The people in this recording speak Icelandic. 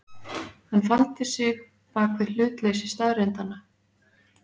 Hann faldi sig bak við hlutleysi staðreyndanna.